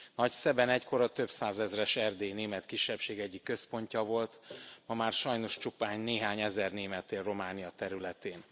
Nagyszeben egykor a több százezres erdélyi német kisebbség egyik központja volt, ma már sajnos csupán néhány ezer német él Románia területén.